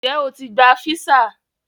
Ǹjẹ́ ó ti gba físà?